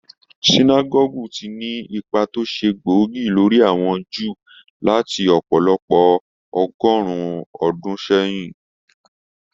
Sinágọ́gù ti ní ipá tó ṣe gbóògì lórí àwọn Júù láti ọ̀pọ̀lọpọ̀ ọgọ́rùn-ún ọdún sẹ́yìn.